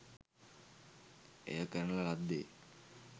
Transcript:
එය කරන ලද්දේ